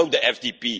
I know the FDP.